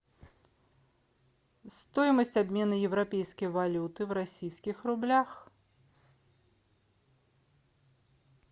стоимость обмена европейской валюты в российских рублях